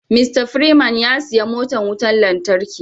"Mr freeman " ya siya motan wutan lantarki.